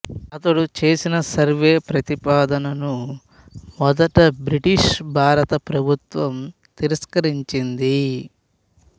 అతడు చేసిన సర్వే ప్రతిపాదనను మొదట బ్రిటిషు భారత ప్రభుత్వం తిరస్కరించింది